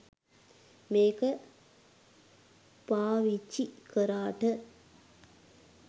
මේක පාවිචි කරාට